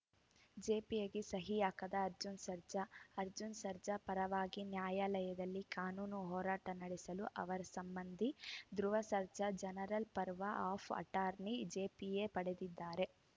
ಜಿಪಿಎಗೆ ಸಹಿ ಹಾಕದ ಅರ್ಜುನ್‌ ಸರ್ಜಾ ಅರ್ಜುನ್‌ ಸರ್ಜಾ ಪರವಾಗಿ ನ್ಯಾಯಾಲಯದಲ್ಲಿ ಕಾನೂನು ಹೋರಾಟ ನಡೆಸಲು ಅವರ ಸಂಬಂಧಿ Dhruva Sarja general power of ಅಟಾರ್ನಿಜಿಪಿಎಪಡೆದಿದ್ದಾರೆ